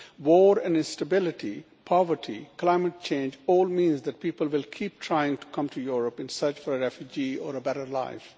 War and instability, poverty and climate change all mean that people will keep trying to come to Europe in search of refuge or a better life.